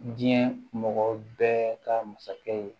Diɲɛ mɔgɔ bɛɛ ka masakɛ ye